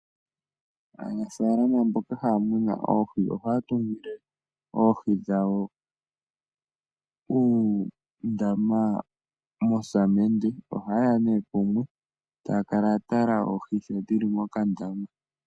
Aanafalama mboka haya munu oohi ohaya tungile oohi dhawo uundama wosamende. Ohaye ya nduno pamwe e taya kala ya tala oohi sho dhi li mokandama.